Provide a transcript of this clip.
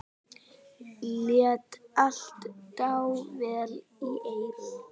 Lét allt dável í eyrum.